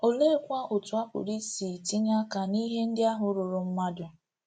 Oleekwa otú a pụrụ isi tinye aka n’ihe ndị ahụ ruuru mmadụ?